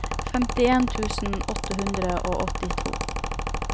femtien tusen åtte hundre og åttito